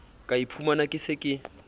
ka iphumana ke se ke